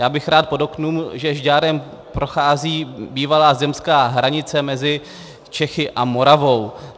Já bych rád podotkl, že Žďárem prochází bývalá zemská hranice mezi Čechami a Moravou.